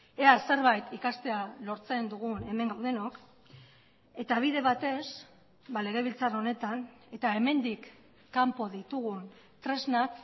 ea zerbait ikastea lortzen dugun hemen gaudenok eta bide batez legebiltzar honetan eta hemendik kanpo ditugun tresnak